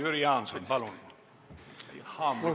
Jüri Jaanson, palun!